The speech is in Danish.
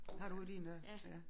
Har du din der ja